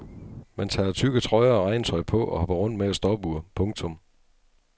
Man tager tykke trøjer og regntøj på og hopper rundt med et stopur. punktum